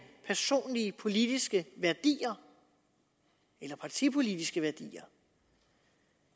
personlige politiske værdier eller partipolitiske værdier